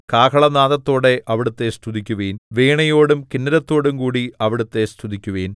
കാഹളനാദത്തോടെ അവിടുത്തെ സ്തുതിക്കുവിൻ വീണയോടും കിന്നരത്തോടുംകൂടി അവിടുത്തെ സ്തുതിക്കുവിൻ